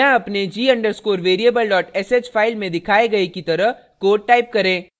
यहाँ अपने g _ underscore variable sh file में दिखाए गए की तरह code type करें